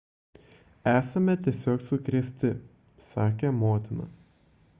esame tiesiog sukrėsti – sakė motina